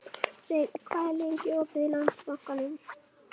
Steinn, hvað er lengi opið í Landsbankanum?